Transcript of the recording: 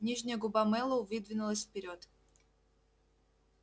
нижняя губа мэллоу выдвинулась вперёд